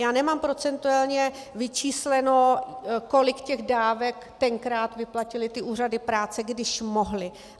Já nemám procentuálně vyčísleno, kolik těch dávek tenkrát vyplatily ty úřady práce, když mohly.